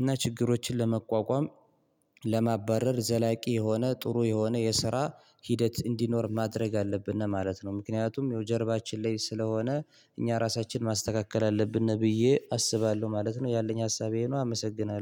እና ችግሮችን ለመቋቋም ለማባረር ዘላቂ የሆነ ጥሩ የሆነ የስራ ሂደት እንዲኖር ማድረግ አለብን ነው ማለት ነው። ምክንያቱም የጀርባችን ላይ ስለሆነ እኛ ራሳችንን ማስተካከል አለብን ነው ብዬ አስባለሁ ማለት ነው። ያለኝ ሀሳቤን አመሰግናለሁ